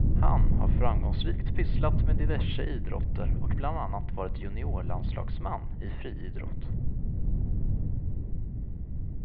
Han har framgångsrikt pysslat med diverse idrotter och bland annat varit juniorlandslagsman i friidrott.